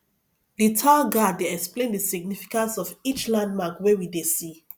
the tour guide dey explain the significance of each landmark wey we dey see